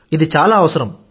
ఇది చాలా అవసరం